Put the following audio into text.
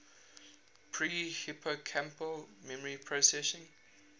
pre hippocampal memory processing